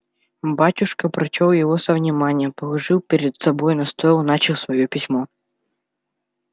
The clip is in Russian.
батюшка прочёл его со вниманием положил перед собою на стол и начал своё письмо